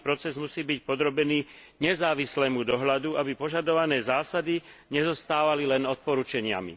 Celý proces musí byť podrobený nezávislému dohľadu, aby požadované zásady nezostávali len odporučeniami.